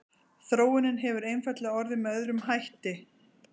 þróunin hefur einfaldlega orðið með öðrum hætti